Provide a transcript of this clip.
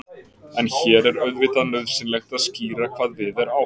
en hér er auðvitað nauðsynlegt að skýra hvað við er átt